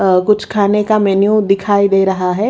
अ कुछ खाने का मेन्यू दिखाई दे रहा है.